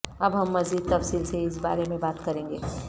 اب ہم مزید تفصیل سے اس بارے میں بات کریں گے